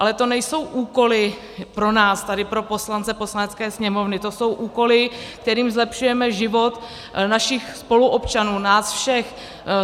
Ale to nejsou úkoly pro nás tady, pro poslance Poslanecké sněmovny, to jsou úkoly, kterými zlepšujeme život našich spoluobčanů, nás všech.